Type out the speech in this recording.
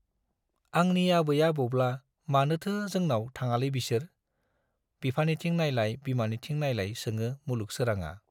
आंनि आबै आबौब्ला मानोथो जोनाव थाङालै बिसोर ? बिफानिथिं नाइलाय बिमानिथिं नाइलाय सोङो मुलुग सोराङा।